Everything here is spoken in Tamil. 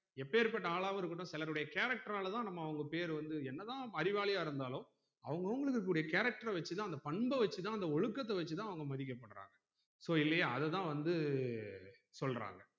எப்பேர்ப்பட்ட ஆளாவும் இருக்கட்டும் சிலருடைய character ஆளதான் நம்ம அவங்க பேர் வந்து என்னதான் அறிவாலியா இருந்தாலும் அவுங்க அவுங்களுக்குரிய character வச்சுதான் அந்த பண்பு வச்சுதான் அந்த ஒழுக்கத்த வச்சுதான் அவங்க மதிக்கப்படுறாங்க so இல்லையா அது தான் வந்து சொல்றாங்க